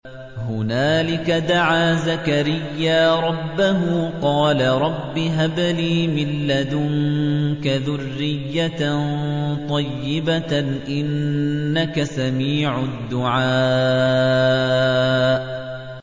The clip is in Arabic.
هُنَالِكَ دَعَا زَكَرِيَّا رَبَّهُ ۖ قَالَ رَبِّ هَبْ لِي مِن لَّدُنكَ ذُرِّيَّةً طَيِّبَةً ۖ إِنَّكَ سَمِيعُ الدُّعَاءِ